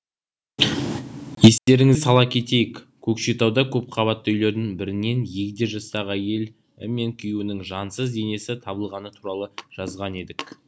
естеріңізге сала кетейік көкшетауда көпқабатты үйлердің бірінен егде жастағы әйелі мен күйеуінің жансыз денесі табылғаны туралы жазған едік